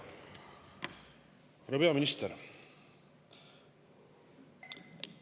Härra peaminister!